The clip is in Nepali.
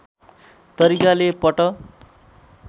तरिकाले पट